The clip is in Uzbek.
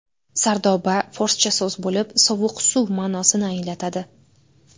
Sardoba – forscha so‘z bo‘lib, sovuq suv ma’nosini anglatadi.